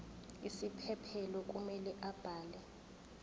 isiphephelo kumele abhale